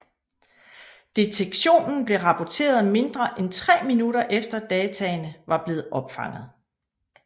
Detektionen blev rapporteret mindre end tre minutter efter dataene var blevet opfanget